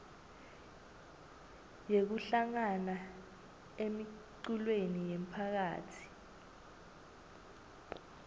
yekuhlangana emiculweni yemphakatsi